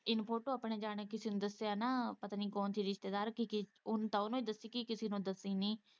ਇਹਨੇ ਫੋਟੋ ਆਪਣੇ ਜਾਣੇ ਕਿਸੇ ਨੂੰ ਦੱਸਿਆ ਨਾ ਪਤਾ ਨੀ ਕੌਣ ਸੀ ਰਿਸ਼ਤੇਦਾਰ ਕੀ ਉਹਨੇ ਤੇ ਉਹਨੂੰ ਦੱਸਿਆ ਕਿ ਕਿਸੇ ਨੂੰ ਦੱਸੀ ਨੀ।